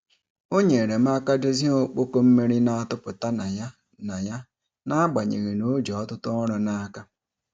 O nyere m aka dozie okpoko mmiri na-atụpụta na ya na ya n'agbanyeghị na o ji ọtụtụ ọrụ n'aka.